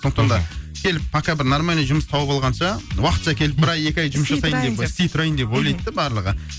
сондықтан да келіп пока бір нормальный жұмыс тауып алғанша уақытша келіп бір ай екі ай жұмыс жасайын деп істей тұрайын істей тұрайын деп ойлайды да барлығы